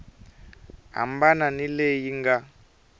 hambana ni leyi yi nga